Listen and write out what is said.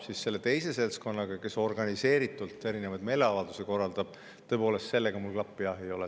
Aga jah, selle teise seltskonnaga, kes organiseeritult erinevaid meeleavaldusi korraldab, mul tõepoolest hea klapp ei ole.